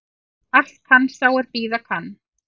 Allt kann sá er bíða kann